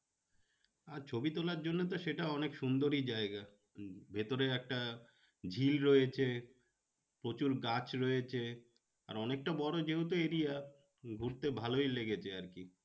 আর ছবি তোলার জন্য তো সেটা অনেক সুন্দরই জায়গা উম ভেতরে একটা ঝিল রয়েছে প্রচুর গাছ রয়েছে আর অনেকটা বড়ো যেহেতু area ঘুরতে ভালোই লেগেছে আর কি।